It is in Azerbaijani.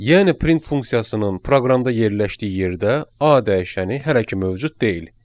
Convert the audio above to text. Yəni print funksiyasının proqramda yerləşdiyi yerdə A dəyişəni hələ ki mövcud deyil.